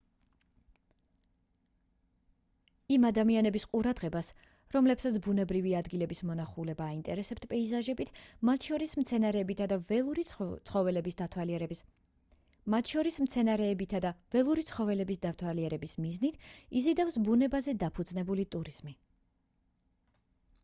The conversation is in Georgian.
იმ ადამიანების ყურადღებას რომლებსაც ბუნებრივი ადგილების მონახულება აინტერესებთ პეიზაჟებით მათ შორის მცენარეებითა და ველური ცხოველების დათვალიერების მიზნით იზიდავს ბუნებაზე დაფუძნებული ტურიზმი